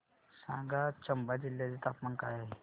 सांगा आज चंबा जिल्ह्याचे तापमान काय आहे